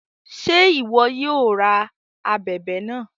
Ṣe iwọ yóò rá ábèbè náà?